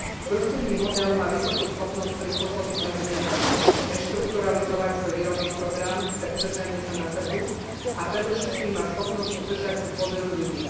Družstevný model má vysokú schopnosť prispôsobiť sa zmenám, reštrukturalizovať svoj výrobný program pre udržanie sa na trhu a predovšetkým má schopnosť udržať si dôveru ľudí.